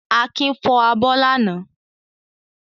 Akin fọ abọ́ lánàá.